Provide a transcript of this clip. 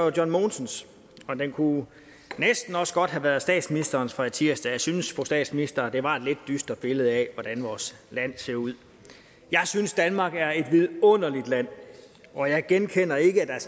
er john mogensens og den kunne næsten også godt have været statsministerens fra i tirsdags jeg synes fru statsminister at det var et lidt dystert billede af hvordan vores land ser ud jeg synes danmark er et vidunderligt land og jeg genkender ikke at der